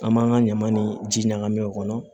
An b'an ka ɲaman ni ji ɲagami o kɔnɔ